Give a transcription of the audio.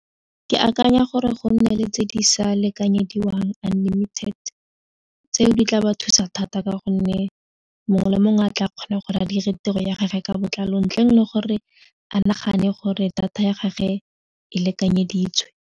Ke akanya gore go nne le tse di sa lekanyediwang unlimited tseo di tla ba thusa thata ka gonne mongwe le mongwe a tla kgona gore a dire tiro ya gage ka botlalo ntleng le gore a nagane gore data ya gage e lekanyeditswe.